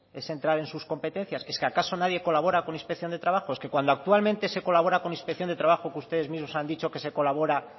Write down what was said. es entrar en sus competencias es que acaso nadie colabora con inspección de trabajo es que cuando actualmente se colabora con inspección de trabajo que ustedes mismos han dicho que se colabora